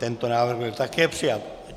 Tento návrh byl také přijat.